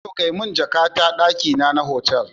Bello kai mun jaka ta dakina na otal